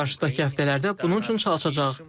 Qarşıdakı həftələrdə bunun üçün çalışacağıq.